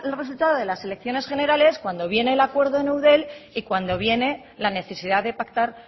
resultado de las elecciones generales cuando viene el acuerdo en eudel y cuando viene la necesidad de pactar